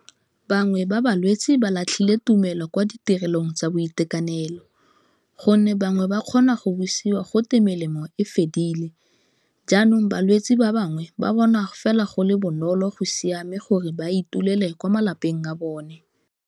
Bangwe ba balwetsi ba latlhile tumelo kwa ditirelong tsa boitekanelo gonne bangwe ba kgona go busiwa go te melemo e fedile, jaanong balwetsi ba bangwe ba bona fela go le bonolo go siame gore ba itumele kwa malapeng a bone.